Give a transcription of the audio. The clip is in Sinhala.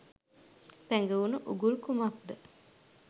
සැඟවුණු උගුල් කුමක්ද